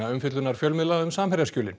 umfjöllunar fjölmiðla um